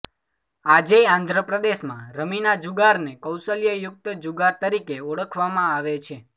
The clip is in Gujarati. આજેય આંધ્રપ્રદેશમાં રમીના જુગારને કૌશલ્ય યુક્ત જુગાર તરીકે ઓળખવામાં આવે છે